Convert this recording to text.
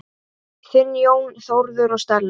Þinn, Jón Þórður og Stella.